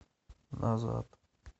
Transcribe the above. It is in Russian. назад